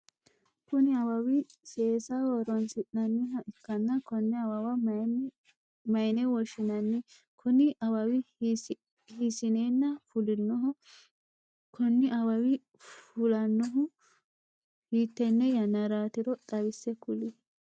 Kunni awawi seesaho horoonsi'nanniha ikanna konne awawa mayine woshinnanni? Kunni awawi hiisineenna fulinoho? Konni awawi fulanohu hiitenne yannaraatiro xawise kuli?